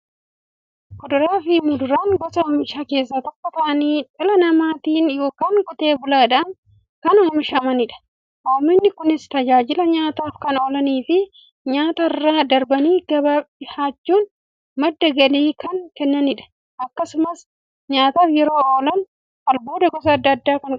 Kuduraafi muduraan gosa oomishaa keessaa tokko ta'anii, dhala namaatin yookiin Qotee bulaadhan kan oomishamaniidha. Oomishni Kunis, tajaajila nyaataf kan oolaniifi nyaatarra darbanii gabaaf dhiyaachuun madda galii kan kennaniidha. Akkasumas nyaataf yeroo oolan, albuuda gosa adda addaa waan qabaniif, fayyaaf barbaachisoodha.